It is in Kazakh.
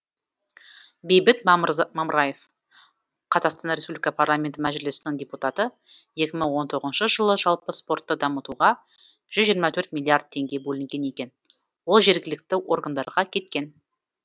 бейбіт мамыраев қр парламенті мәжілісінің депутаты екі мың он тоғызыншы жылы жалпы спортты дамытуға жүз жиырма төрт миллиард теңге бөлінген екен ол жергілікті органдарға кеткен